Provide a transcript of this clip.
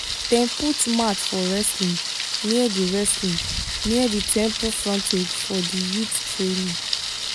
dem put mat for wrestling near di wrestling near di temple frontage for the youth training